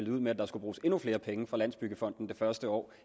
ud med at der skulle bruges endnu flere penge fra landsbyggefonden det første år